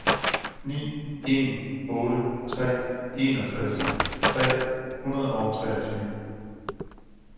ni en otte tre enogtres tre hundrede og treogtyve